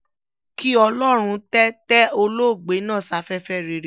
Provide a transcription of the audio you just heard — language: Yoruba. kí ọlọ́run tẹ tẹ olóògbé náà sáfẹ́fẹ́ rere